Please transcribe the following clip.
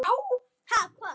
En það gerist ekkert.